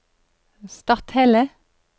Stathelle